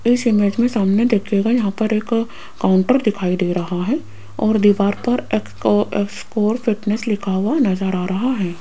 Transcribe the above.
इस इमेज मे सामने देखियेगा यहां पर एक काउंटर दिखाई दे रहा है और दीवार पर एक्स को एस कोर फिटनेस लिखा हुआ नज़र आ रहा है।